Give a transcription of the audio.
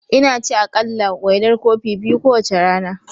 Ina ci aƙalla, wainar kofi biyu kowace rana.